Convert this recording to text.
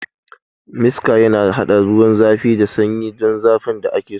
Miksa yana haɗa ruwan zafi da sanyi don zafin da ake so.